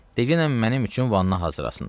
Degiyəm mənim üçün vanna hazırlasınlar.